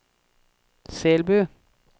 Selbu